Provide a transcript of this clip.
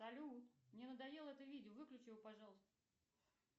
салют мне надоело это видео выключи его пожалуйста